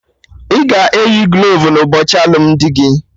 Ị ga-eyi glovu n'ụbọchị alụmdi ụka gị